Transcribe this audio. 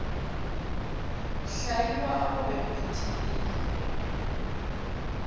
hlaiwa go be go phuthegile